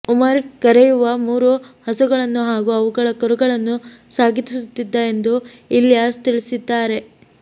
ಉಮರ್ ಹಾಲು ಕರೆಯುವ ಮೂರು ಹಸುಗಳನ್ನು ಹಾಗೂ ಅವುಗಳ ಕರುಗಳನ್ನು ಸಾಗಿಸುತ್ತಿದ್ದ ಎಂದು ಇಲ್ಯಾಸ್ ತಿಳಿಸಿದ್ದಾರೆ